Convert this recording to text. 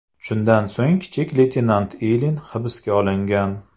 Shundan so‘ng, kichik leytenant Ilin hibsga olingan.